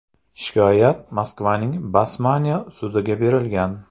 Shikoyat Moskvaning Basmanniy sudiga berilgan.